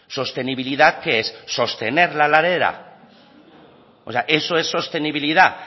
sostenibilidad qué es sostener la ladera o sea eso es sostenibilidad